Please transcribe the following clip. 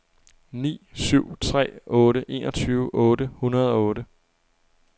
ni syv tre otte enogtyve otte hundrede og otte